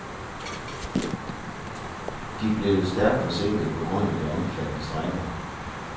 De blevet stærkt forsinket på grund af de omfattende strejker.